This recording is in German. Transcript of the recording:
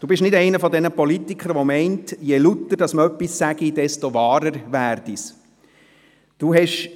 Sie sind nicht einer jener Politiker, die meinen, je lauter man etwas sage, desto wahrer werde es.